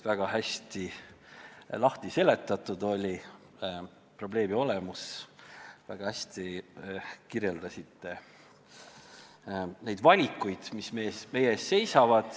Väga hästi oli lahti seletatud probleemi olemus ja väga hästi kirjeldasite neid valikuid, mis meie ees seisavad.